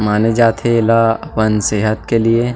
माने जाथे एला अपन सेहत के लिए--